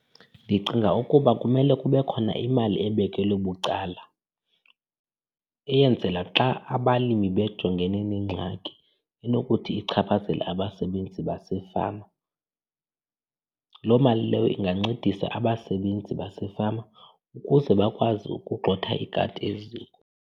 Ndicinga ukuba kumele kube khona imali ebekelwe bucala eyenzela xa abalimi bejongene neengxaki enokuthi ichaphazele abasebenzi basefama. Loo mali leyo ingancedisa abasebenzi basefama ukuze bakwazi ukugxotha ikati eziko.